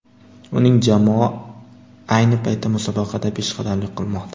Uning jamoa ayni paytda musobaqada peshqadamlik qilmoqda.